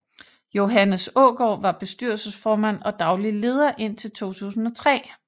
Johannes Aagaard var bestyrelsesformand og daglig leder indtil 2003